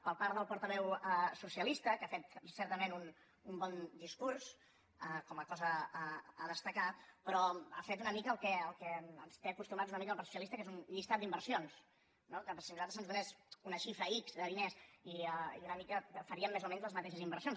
per part del portaveu socialista que ha fet certament un bon discurs com a cosa a destacar però ha fet una mica al que ens té acostumats una mica el partit socialista que és un llistat d’inversions no si a nosaltres se’ns donés una xifra ics de diners una mica faríem més o menys les mateixes inversions